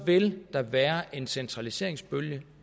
vil der være en centraliseringsbølge